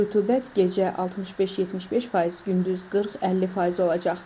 Nisbi rütubət gecə 65-75%, gündüz 40-50% olacaq.